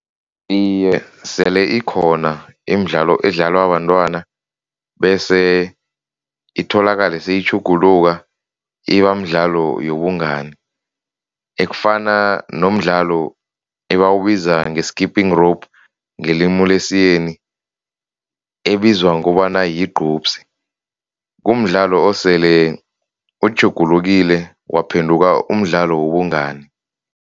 Iye, sele ikhona imidlalo edlalwa bantwana bese itholakale seyitjhuguluka ibamdlalo yobungani. Ekufana nomdlalo ebawubiza nge-skipping rope ngelimu lesiyeni ebizwa ngokobana yigqupsi. Kumdlalo osele utjhugulukile waphenduka umdlalo wobungani.